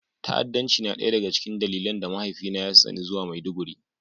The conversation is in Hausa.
Ta'addanci na ɗaya daga cikin dalilan da mahaifina ya tsani zuwa Maiduguri